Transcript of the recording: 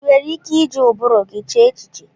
Ị nwere ike iji ụbụrụ gị chee echiche?